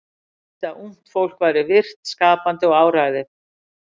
Hann vildi að ungt fólk væri virkt, skapandi og áræðið.